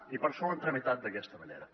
i per això ho han tramitat d’aquesta manera